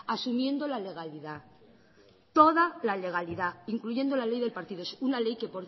asumiendo la legalidad toda la legalidad incluyendo la ley del partido una ley que